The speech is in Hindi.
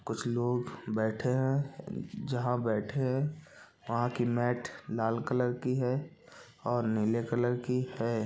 कुछ लोग बैठे है जहा बैठे है वहाँ की मेट लाल कलर की है और नीले कलर की है।